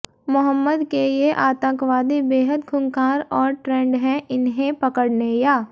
मोहम्मद के ये आतंकवादी बेहद खूंखार और ट्रेंड हैं इन्हें पकड़ने या